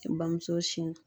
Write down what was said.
I bamuso siɲɛ